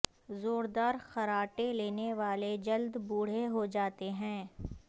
زور دار خراٹے لینے والے جلد بوڑھے ہوجاتے ہیں